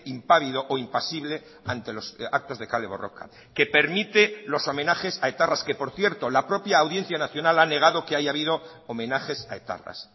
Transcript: impávido o impasible ante los actos de kale borroka que permite los homenajes a etarras que por cierto la propia audiencia nacional ha negado que haya habido homenajes a etarras